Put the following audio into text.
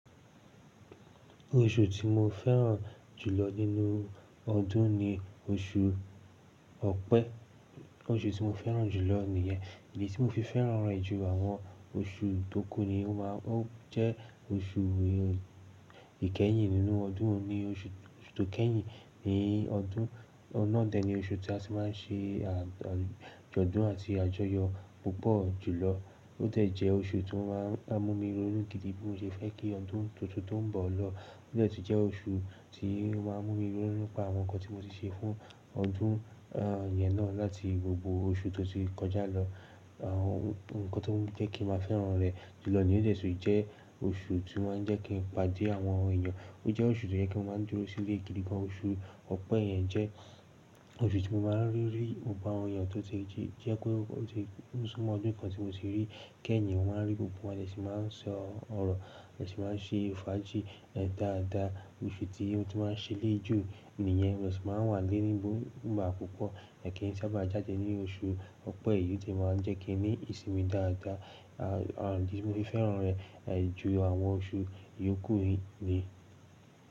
Oṣù tí mo fẹ́ràn jùlọ nínú ọdún ni oṣù Ọ̀pẹ. Oṣù tí mo fẹ́ràn jùlọ nìyẹn. Ìdí tí mo fi fẹ́ràn rẹ̀ ju àwọn oṣù tókù ni ó máa ń jẹ́ oṣù ìkẹ́yìn nínú ọdún ni oṣù tókẹ́yìn ní ọdún. Ọun na dẹ̀ ni oṣù tí a ti máa ń ṣe àjọ̀dún àti àjọyọ̀ púpọ̀ jùlọ. Ó dẹ́ jẹ́ oṣù tó máa ń mú mi ronú gidi bí mo ṣe fẹ́ kí ọdún tuntun tó ń bọ̀ lọ. Ó dẹ́ tì jẹ́ oṣù tí ó máa ń mú mi ronú nipa àwọn nǹkan tí mo ti ṣe fún ọdún, ehn, ìyẹn náà láti gbogbo oṣù tó ti kọjá lọ. Ehn, nǹkan tó ń jẹ́ kí n máa fẹ́ràn rẹ̀ jùlọ niyen ó dẹ́ tun jẹ́ oṣù tí ó máa ń jẹ́ kí n pàdé àwọn èèyàn. Ó jẹ́ oṣù tó jẹ́ pe mo máa ń dúró sílé gidi gan. Oṣù Ọ̀pẹ yẹn jẹ́ oṣù tí mo máa ń rí rí i, gbogbo àwọn èèyàn tó ti jí, jẹ́ pé ó ti súnmọ́ ọdún kan tí mo ti rí. Kẹ́yìn mo máa ń rí gbogbo wọn, a de sì máa ń sọ ọ̀rọ̀, a sì máa ń ṣe fàájì, ehn, dáadáa. Ifiti otun tí máa ń ṣẹlẹ jù nìyẹn. Wọn sì máa ń wà léni bọ́ ń bá púpọ̀. Ẹ̀kẹ̀n ti a bá jáde ní oṣù Ọ̀pẹ yìí, ó tẹ́ máa ń jẹ́ kí ni ìsimi dáadáa. Ehn, ehn, bí mo se fẹ́ràn rẹ̀, ehn, ju àwọn oṣù ìyókù yìí ni.